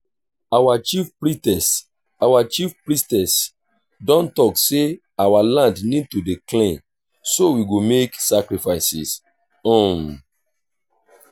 our chief priestess our chief priestess don talk say our land need to dey clean so we go make sacrifices um